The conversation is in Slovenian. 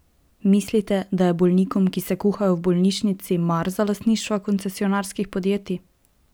Mislite, da je bolnikom, ki se kuhajo v bolnišnici, mar za lastništva koncesionarskih podjetij?